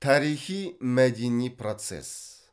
тарихи мәдени процесс